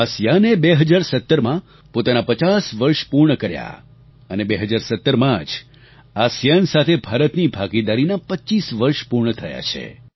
ASEAN એ 2017માં પોતાના 50 વર્ષ પૂર્ણ કર્યા અને 2017માં જ આસિઆન સાથે ભારતની ભાગીદારીના 25 વર્ષ પૂર્ણ થયા છે